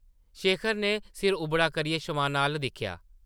शेखर नै सिर उबड़ा करियै शमाना अʼल्ल दिक्खेआ ।